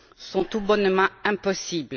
est tout bonnement impossible.